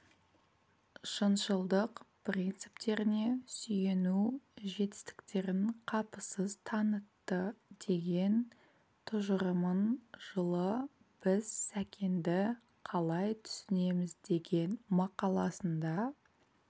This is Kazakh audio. шыншылдық принциптеріне сүйену жетістіктерін қапысыз танытты деген тұжырымын жылы біз сәкенді қалай түсінеміз деген мақаласында